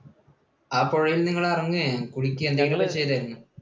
ആ പുഴയിൽ നിങ്ങൾ ഇറങ്ങുകയോ കുളിക്കുകയോ എന്തെങ്കിലും ചെയ്തായിരുന്നോ?